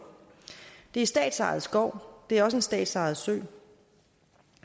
det er statsejet skov det er også en statsejet sø